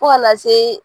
Fo kana se